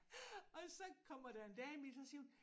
Og så kommer der en dame ind så siger hun